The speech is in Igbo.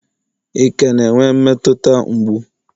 ị ka na-enwe mmetụta mgbu